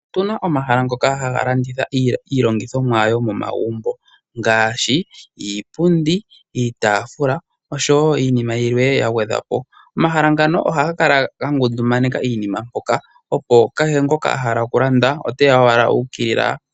Otu na omahala ngoka haga landitha iilandithomwa yomomagumbo ngaashi iipundi, iitaafula osho wo iinima yilwe ya gwedhwa po. Omahala ngano ohaga kala ga ngundumaneka iinima mpoka, opo kehe ngoka a hala okulanda ote ya owala u ukilila.